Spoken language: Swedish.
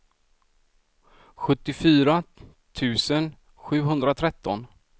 sjuttiofyra tusen sjuhundratretton